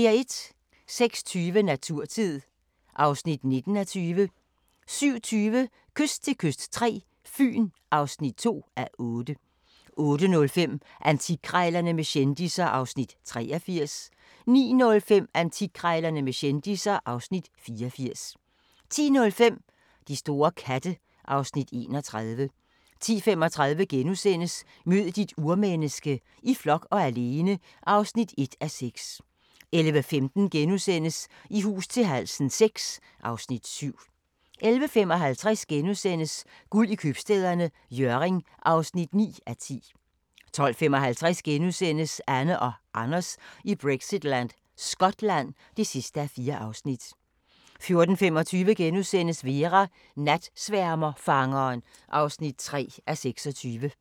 06:20: Naturtid (19:20) 07:20: Kyst til kyst III – Fyn (2:8) 08:05: Antikkrejlerne med kendisser (Afs. 83) 09:05: Antikkrejlerne med kendisser (Afs. 84) 10:05: De store katte (Afs. 31) 10:35: Mød dit urmenneske - i flok og alene (1:6)* 11:15: I hus til halsen VI (Afs. 7)* 11:55: Guld i Købstæderne – Hjørring (9:10)* 12:55: Anne og Anders i Brexitland: Skotland (4:4)* 14:25: Vera: Natsværmerfangeren (3:26)*